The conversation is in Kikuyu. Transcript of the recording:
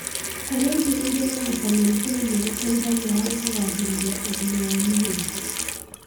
Kũrĩa irio irĩ na vitameni K nĩgũteithagia harĩ kũgacĩrithia ũgima wa mahĩndĩ